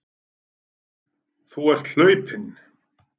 Þú ert hlaupinn.